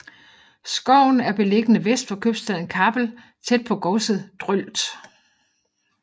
Skoven er beliggende vest for købstaden Kappel tæt på godset Drølt